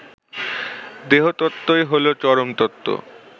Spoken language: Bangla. দেহতত্ত্বই হলো চরমতত্ত্ব